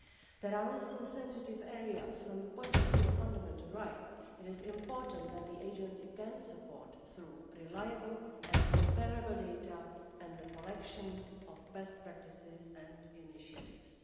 There are also sensitive areas from the point of view of fundamental rights. It is important that the Agency can provide support through reliable and comparable data and the collection of best practices and initiatives.